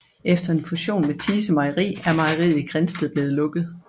Efter en fusion med Thise Mejeri er mejeriet i Grindsted blevet lukket